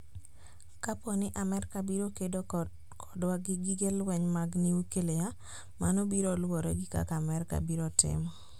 Kapo nii Amerka biro kedo kodwa gi gige lweniy mag niyuklia, mano biro luwore gi kaka Amerka biro timo.